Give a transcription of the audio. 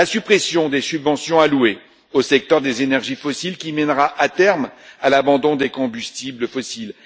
La suppression des subventions allouées au secteur des énergies fossiles, qui mènera, à terme, à l'abandon des combustibles fossiles